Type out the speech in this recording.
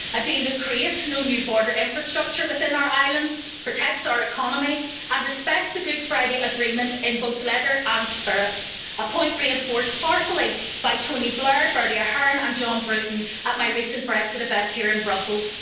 A deal that creates no new border infrastructure within our islands, protects our economy and respects the Good Friday Agreement in both letter and spirit a point reinforced powerfully by Tony Blair, Bertie Ahern and John Bruton at my recent Brexit event here in Brussels.